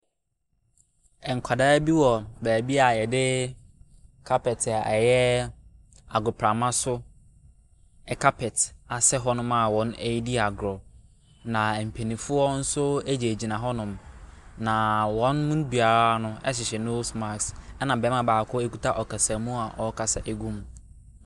Nkwadaa bi wɔ baabi a yɛde kapɛt a ɛyɛ agoprama so kapɛt asɛ hɔnom a wɔredi agorɔ. Na mpanimfoɔ nso gyingyina hɔnom. Na wɔn no biara no hyehɛ nose marsk. Ɛna barima baako kita ɔsamu a ɔrekasa gu mu.